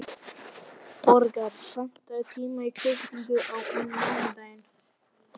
Borgar, pantaðu tíma í klippingu á mánudaginn.